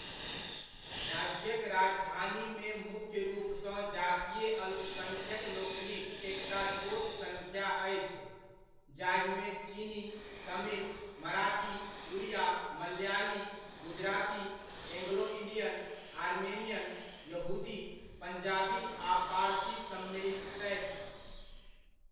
राज्यक राजधानीमे मुख्य रूपसँ जातीय अल्पसङ्ख्यकलोकनिक एकटा छोट सङ्ख्या अछि, जाहिमे चीनी, Tamil, Marathi, Oriya, Malayali, Gujarati, Anglo Indian, Armenian, यहूदी, पञ्जाबी आ पारसी सम्मिलित छथि।